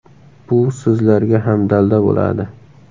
Bu sizlarga ham dalda bo‘ladi.